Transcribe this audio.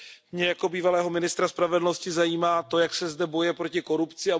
Mě jako bývalého ministra spravedlnosti zajímá to, jak se zde bojuje proti korupci.